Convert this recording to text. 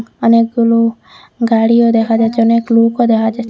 অনেকগুলো গাড়িও দেখা যাচ্ছে অনেক লোকও দেখা যা--